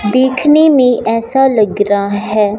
देखने में ऐसा लग रहा है।